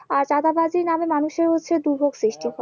আর দাদাবাজি নামে মানুষের হচ্ছে দুর্ভোগ সৃষ্টি